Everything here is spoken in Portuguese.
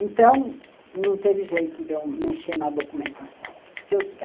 Então, não teve jeito de eu mexer na documentação.